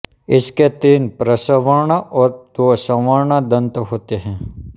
इसके तीन प्रचर्वण और दो चर्वण दंत होते हैं